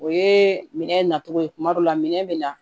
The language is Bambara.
O ye minɛ nacogo ye kuma dɔ la minɛn bɛ na